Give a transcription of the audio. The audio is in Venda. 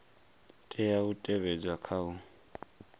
tea u tevhedzwa kha u